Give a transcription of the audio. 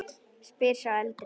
spyr sá eldri.